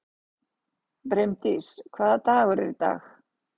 Brimdís, hvaða dagur er í dag?